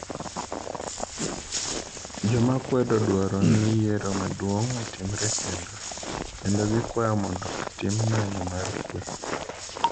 Joma kwedo dwaro ni yiero maduong' otimre kendo, kendo gikwayo mondo otim ng'anyo mar kwe.